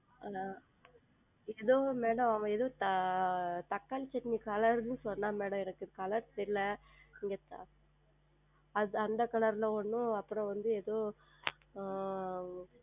ஆஹ் எதோ Madam அவன் எதோ தக்காளி சட்னி Color என்று சொன்னான் Madam எனக்கு Color தெரியவில்லை அந்த Color ல் ஒன்றும் அப்புறம் வந்து எதோ